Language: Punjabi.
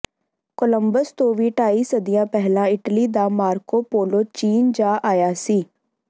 ਕੋਲੰਬਸ ਤੋਂ ਵੀ ਢਾਈ ਸਦੀਆਂ ਪਹਿਲਾਂ ਇਟਲੀ ਦਾ ਮਾਰਕੋ ਪੋਲੋ ਚੀਂਨ ਜਾ ਆਇਆ ਸੀ